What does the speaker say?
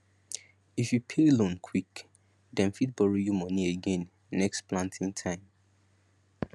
if you pay loan quick dem fit borrow you money again next planting time